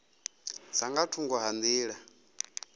dza nga thungo ha nḓila